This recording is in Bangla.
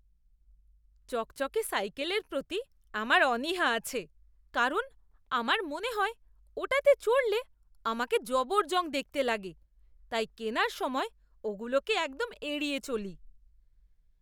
চকচকে সাইকেলের প্রতি আমার অনীহা আছে কারণ আমার মনে হয় ওটাতে চড়লে আমাকে জবরজং দেখতে লাগে, তাই কেনার সময় ওগুলোকে একদম এড়িয়ে চলি!